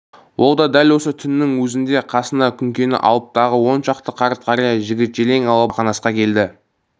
ол дәл осы түннің өзінде қасына күнкені алып тағы он шақты қарт-қария жігіт-желең алып бақанасқа келді